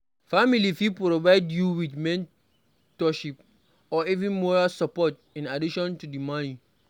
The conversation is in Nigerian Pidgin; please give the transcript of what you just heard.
Family fit provide you with mentorship or even moral support in addition to di money